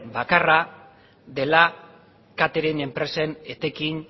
bakarra dela catering enpresen etekin